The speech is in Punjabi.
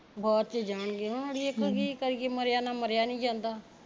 ਬਾਅਦ ਚ ਜਾਣਗੇ ਹੁਣ ਅੜੀਏ ਕੀ ਕਰੀਏ ਮਰਿਆ ਨਾਲ ਮਰਿਆ ਨੀ ਜਾਂਦਾ